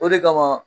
O de kama